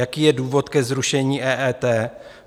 Jaký je důvod ke zrušení EET?